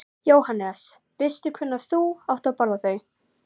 Sjáðu svo fjallið þarna í sólskininu með fannabreiður í blámanum.